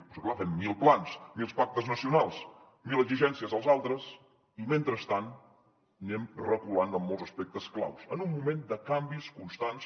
però és que clar fem mil plans mil pactes nacionals mil exigències als altres i mentrestant anem reculant en molts aspectes claus en un moment de canvis constants